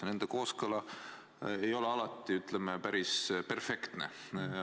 Ja nende kooskõla ei ole alati, ütleme, päris perfektne.